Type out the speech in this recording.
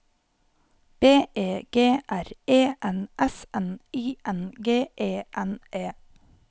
B E G R E N S N I N G E N E